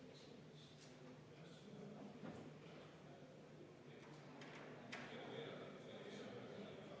Nii et juhtivkomisjon on seda arvestanud täielikult, aga EKRE fraktsioon on palunud seda hääletada.